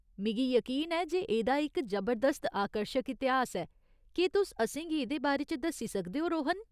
मिगी यकीन ऐ जे एह्दा इक जबरदस्त आकर्शक इतिहास ऐ, केह् तुस असेंगी एह्दे बारे च दस्सी सकदे ओ, रोहन ?